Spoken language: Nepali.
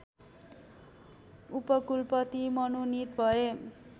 उपकुलपति मनोनित भए